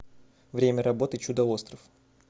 время работы чудо остров